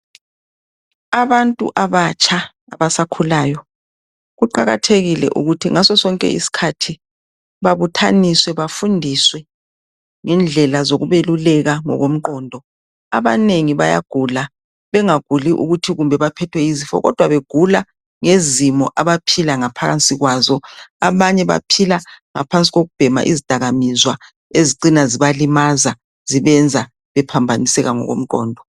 Abantu abatsha abasakhulayo kuqakathekile ukuthi nxa bekhula babuthaniswe benze izifundo zokutshelwa ngokuphila ngoba abanye bagula ngokuswela ulwazi njalo lezidakaminzwa ezibenza beswele umqondo.